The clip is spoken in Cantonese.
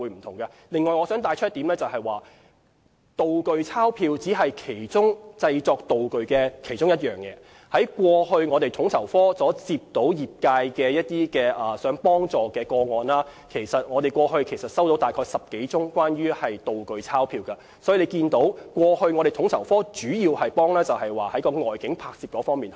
此外，我想指出，"道具鈔票"只是製作道具的其中一個項目，統籌科過往收到的業界查詢個案中，其實只收到10多宗是關於"道具鈔票"，可見統籌科過往主要是協調外境拍攝的工作。